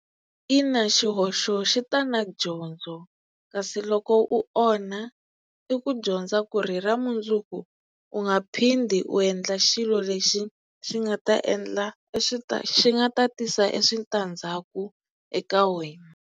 Ina xihoxo xi ta na dyondzo kasi loko u onha i ku dyondza ku ri hi ra mundzuku u nga phindi u endla xilo lexi xi nga ta endla e xi nga ta tisa e switandzhaku eka wena.